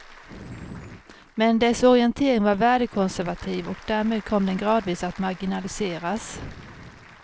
Men dess orientering var värdekonservativ och därmed kom den gradvis att marginaliseras.